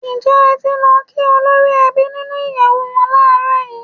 Ǹjẹ́ ẹ ti lọ kí olórí ẹbí nínú ìyẹ̀wù wọn láàrọ̀ yìí?